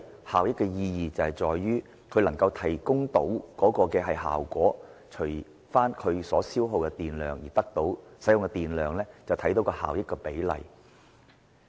效益的意義在於，一部電器所能提供的效果，除以其所消耗的電量，便可知其效益比例。